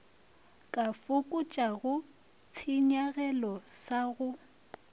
ka fokotšago tshenyagelo sa go